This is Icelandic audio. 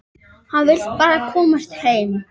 Hann vill bara komast heim.